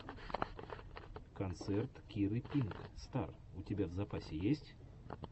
концерт киры пинк стар у тебя в запасе есть